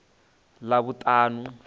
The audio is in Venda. ḽavhuṱanu